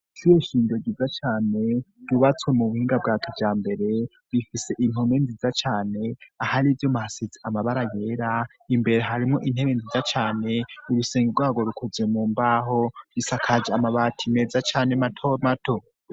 Ishure shingiro ryiza cane ryubatswe mu buhinga bwa kijambere bifise intume nziza cane ahari ivyo mahasetsi amabara yera imbere harimwo intebe nziza cane, irusenge rwago rukoze mu mbaho bisakaje amabati meza cane matomato.